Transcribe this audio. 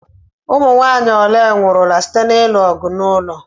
Ụmụnwaanyị ole nwụrụla site na-ilu ọgụ n'ụlọ?